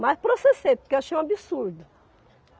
Mas processei, porque eu achei um absurdo.